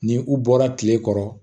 Ni u bɔra kile kɔrɔ